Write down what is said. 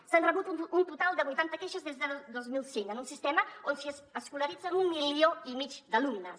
s’han rebut un total de vuitanta queixes des de dos mil cinc en un sistema on s’hi escolaritzen un milió i mig d’alumnes